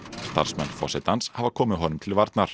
starfsmenn forsetans hafa komið honum til varnar